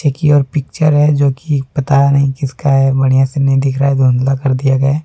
एक यह पिक्चर है जो कि पता नहीं किसका है बढ़िया से नहीं दिख रहा है धुंधला कर दिया गया है।